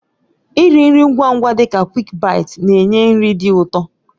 Nri nri ngwa ngwa dị ka "QuickBites" na-enye nri dị ụtọ.